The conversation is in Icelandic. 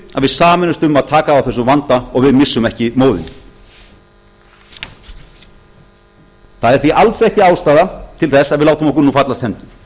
sameinumst um að taka á þessum vanda og við missum ekki móðinn það er því alls ekki ástæða til þess að við látum okkur fallast hendur